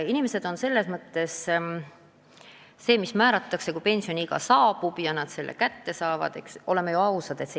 Inimesed aga eelistavad neile määratud pensioni saama hakata kohe, kui pensioniiga on saabunud.